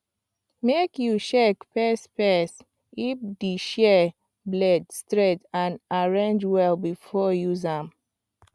make you check first first if di shears blade straight and arrange well before you use am